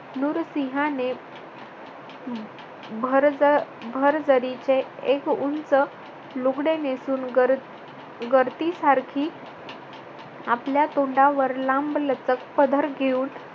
नुरसिंहाने भरज भर्जरीचे एक उंच लुगडे नेसून गर गर्दीसारखी आपल्या तोंडावर लांबलचक पदर घेऊन